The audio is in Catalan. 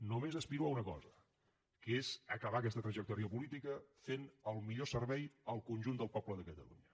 només aspiro a una cosa que és acabar aquesta trajectòria política fent el millor servei al conjunt del poble de catalunya